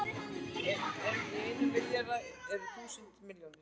En í einum milljarði eru þúsund milljónir!